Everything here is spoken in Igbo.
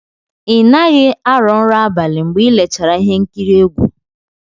Ị naghị arọ nrọ abalị mgbe i lechara ihe nkiri egwu?